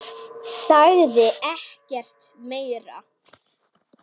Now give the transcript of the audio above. Sagði ekkert meira.